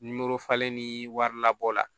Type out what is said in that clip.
ni wari labɔ la